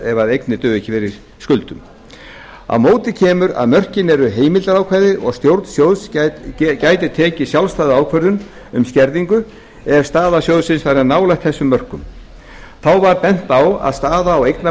ef eignir duga ekki fyrir skuldum á móti kemur að mörkin eru heimildarákvæði og að stjórn sjóðs gæti tekið sjálfstæða ákvörðun um skerðingu ef staða sjóðsins væri nálægt þessum mörkum þá var bent á að staða á